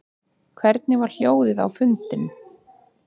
Hvernig var hljóðið á fundinum